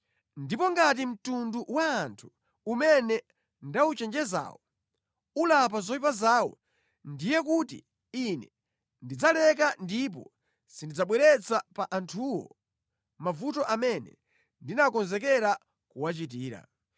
ndipo ngati mtundu wa anthu umene ndawuchenjezawo ulapa zoyipa zawo, ndiye kuti Ine ndidzaleka ndipo sindidzabweretsa pa anthuwo mavuto amene ndinakonzekera kuwachitira.